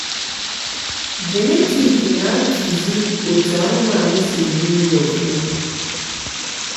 jenetik na-atụ zi otú anụmanụ si eri nri ofụma.